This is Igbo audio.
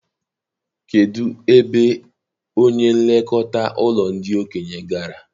Kedụ ebe onye n'elekọta ụlọ ndị okenye gara?